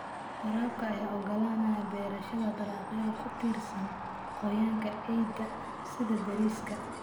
Waraabka ayaa ogolaanaya beerashada dalagyada ku tiirsan qoyaanka ciidda sida bariiska.